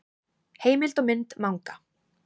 Heimild og mynd Manga.